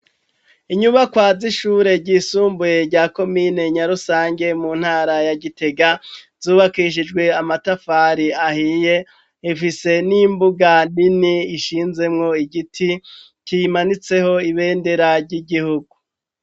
Inyubakwa z'ishure ry'isumbuye rya komine Nyarusange mu ntara ya Gitega zubakishijwe amatafari ahiye, ifise n'imbuga nini ishinzemwo igiti cimanitseho ibendera ry'igihugu